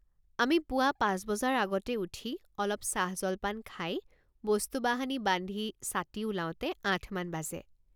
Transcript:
আমি পুৱা পাঁচ বজাৰ আগতে উঠি অলপ চাহজলপান খাই বস্তুবাহানি বান্ধিছাতি ওলাওঁতে আঠমান বাজে।